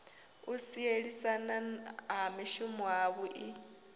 u sielisana ha mishumo havhui